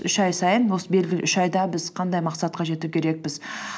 үш ай сайын осы белгілі үш айда біз қандай мақсатқа жету керекпіз